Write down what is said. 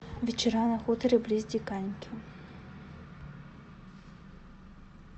вечера на хуторе близ диканьки